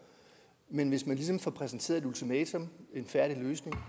men hvis man ligesom får præsenteret et ultimatum en færdig løsning